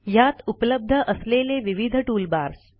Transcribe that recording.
ह्यात उपलब्ध असलेले विविध टूलबार्स